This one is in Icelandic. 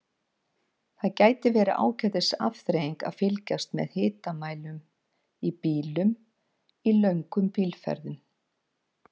Það getur verið ágætis afþreying að fylgjast með hitamælinum í bílnum í löngum bílferðum.